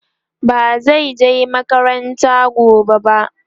bazan je makaranta gobe ba